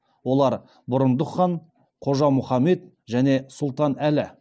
олар бұрындық хан қожа мұхаммед және сұлтан әлі